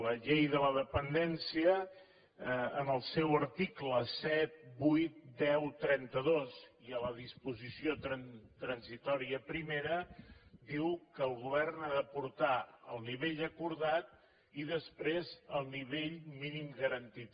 la llei de la dependència en els seus articles set vuit deu trenta dos i a la disposició transitòria primera diu que el govern ha d’aportar el nivell acordat i després el nivell mínim garantit